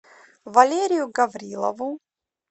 валерию гаврилову